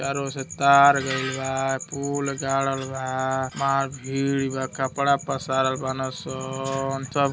चारो और से तार गईल बा पूल गाड़ल बा मार भींड बा कपड़ा पसारल बाड़े सन। --